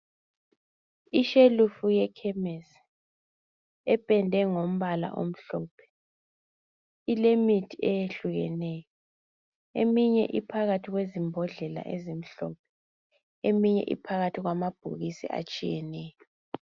ishelufu yekhemesi ependwe ngombala omhlophe ilemithi eyehlukeneyo eminye iphakathi kwezimbodlela ezimhlophe emineye iphakathi kwamabhokisi ayehlukeneyo